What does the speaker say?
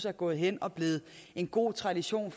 er gået hen og blevet en god tradition